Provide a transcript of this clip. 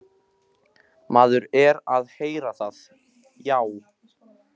Maður er að heyra það, já.